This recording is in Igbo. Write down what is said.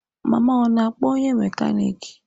Mama ọ na-akpọ onye mekaniki?